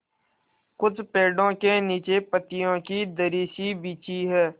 कुछ पेड़ो के नीचे पतियो की दरी सी बिछी है